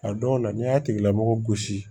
A dɔw la n'i y'a tigilamɔgɔ gosi